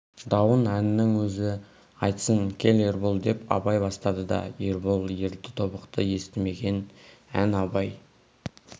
дауын әннің өзі айтсын кел ербол деп абай бастады да ербол ерді тобықты естімеген ән абай